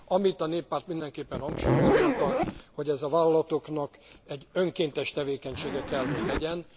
Amit a Néppárt mindenképpen hangsúlyozni akar, hogy ez a vállalatoknak egy önkéntes tevékenysége kell, hogy legyen.